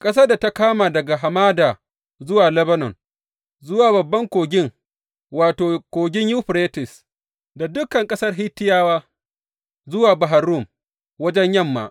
Ƙasar da ta kama daga hamada zuwa Lebanon, zuwa babban Kogin, wato, Kogin Yuferites, da dukan ƙasar Hittiyawa zuwa Bahar Rum, wajen yamma.